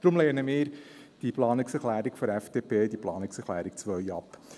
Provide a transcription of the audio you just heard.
Deshalb lehnen wir die Planungserklärung der FDP, die Planungserklärung 2, ab.